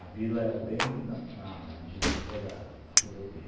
A vila era bem na na divisa da rodovia.